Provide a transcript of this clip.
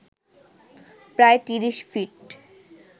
প্রায় ৩০ ফিট